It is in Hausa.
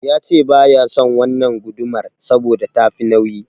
Yace baya son wannan gudumar saboda tafi nauyi.